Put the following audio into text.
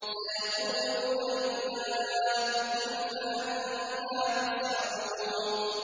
سَيَقُولُونَ لِلَّهِ ۚ قُلْ فَأَنَّىٰ تُسْحَرُونَ